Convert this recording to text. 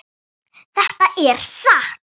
Þetta er satt!